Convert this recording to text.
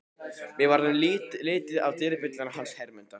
Mér varð litið á dyrabjölluna hans Hermundar.